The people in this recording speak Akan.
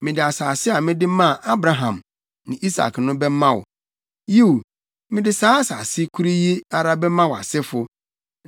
Mede asase a mede maa Abraham ne Isak no bɛma wo. Yiw, mede saa asase koro yi ara bɛma wʼasefo.”